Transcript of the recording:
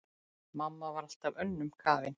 Mamma var alltaf önnum kafin.